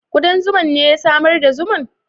Kudan zuman ne ya samar da zuman?